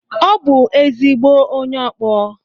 Ọ bụ ezigbo onye ọkpọ.